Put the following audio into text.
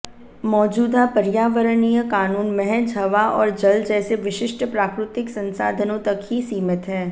मौजूदा पर्यावरणीय कानून महज हवा और जल जैसे विशिष्ट प्राकृतिक संसाधनों तक ही सीमित हैं